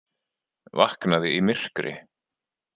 Vaknaði í myrkri